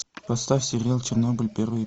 поставь сериал чернобыль первый